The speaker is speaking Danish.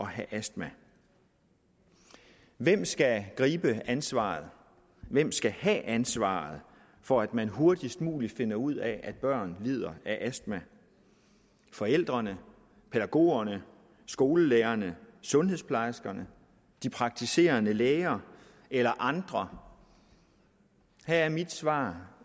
have astma hvem skal gribe ansvaret hvem skal have ansvaret for at man hurtigst muligt finder ud af at børn lider af astma forældrene pædagogerne skolelærerne sundhedsplejerskerne de praktiserende læger eller andre her er mit svar